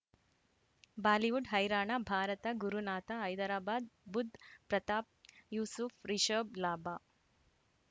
Bollywood ಹೈರಾಣ ಭಾರತ ಗುರುನಾಥ ಹೈದರಾಬಾದ್ ಬುಧ್ ಪ್ರತಾಪ್ ಯೂಸುಫ್ ರಿಷಬ್ ಲಾಭ